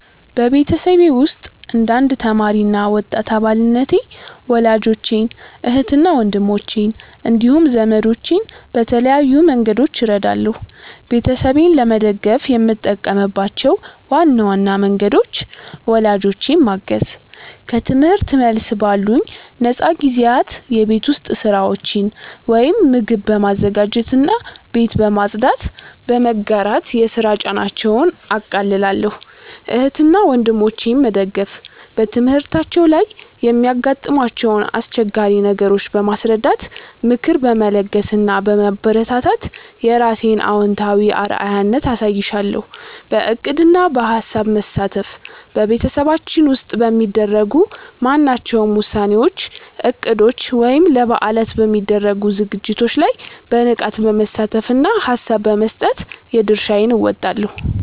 በቤተሰቤ ውስጥ እንደ አንድ ተማሪ እና ወጣት አባልነቴ ወላጆቼን፣ እህትና ወንድሞቼን እንዲሁም ዘመዶቼን በተለያዩ መንገዶች እረዳለሁ። ቤተሰቤን ለመደገፍ የምጠቀምባቸው ዋና ዋና መንገዶች፦ ወላጆቼን ማገዝ፦ ከትምህርት መልስ ባሉኝ ነፃ ጊዜያት የቤት ውስጥ ሥራዎችን (ምግብ በማዘጋጀትና ቤት በማጽዳት) በመጋራት የሥራ ጫናቸውን አቃልላለሁ። እህትና ወንድሞቼን መደገፍ፦ በትምህርታቸው ላይ የሚያጋጥሟቸውን አስቸጋሪ ነገሮች በማስረዳት፣ ምክር በመለገስ እና በማበረታታት የራሴን አዎንታዊ አርአያነት አሳይሻለሁ። በዕቅድና በሐሳብ መሳተፍ፦ በቤተሰባችን ውስጥ በሚደረጉ ማናቸውም ውሳኔዎች፣ እቅዶች ወይም ለበዓላት በሚደረጉ ዝግጅቶች ላይ በንቃት በመሳተፍና ሐሳብ በመስጠት የድርሻዬን እወጣለሁ።